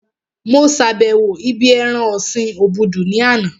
Mo sàbẹ̀wo ibí ẹran ọ̀sin obudu ní àná